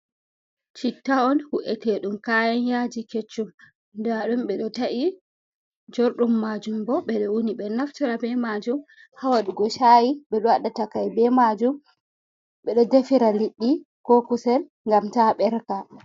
Chitta on hu’etedum kayan yaji keccum, da dum ɓe do ta’i jordum majum bo ɓe do u"ni ɓe naftira ɓe majum hawadugo shayi ɓe do waɗa takai ɓe majum ɓe do defira liddi ko kusel gam ta berka.